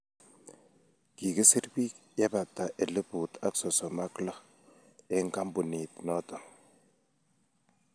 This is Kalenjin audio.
Kikiser bik yebata elput ak sosom and lok eng kampunit noto